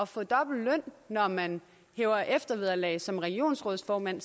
få dobbelt løn når man hæver eftervederlag som regionsrådsformand